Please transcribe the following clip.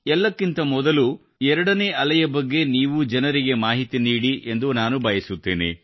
ಎಲ್ಲಕ್ಕಿಂತ ಮೊದಲು 2 ನೇ ಅಲೆಯ ಬಗ್ಗೆ ನೀವು ಜನರಿಗೆ ಮಾಹಿತಿ ನೀಡಿ ಎಂದು ನಾನು ಬಯಸುತ್ತೇನೆ